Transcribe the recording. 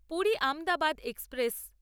Puri Ahmedabad express